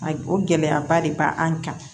A o gɛlɛyaba de b'an kan